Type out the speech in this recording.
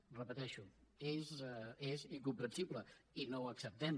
ho repeteixo és incomprensible i no ho acceptem